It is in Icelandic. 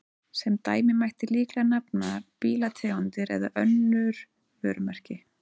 Sem dæmi mætti líklega nefna bílategundir eða önnur vörumerki.